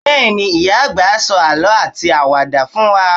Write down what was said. Bẹ́ẹ̀ni, ìyá-àgbà á sọ àlọ́ àti àwàdà fún wa.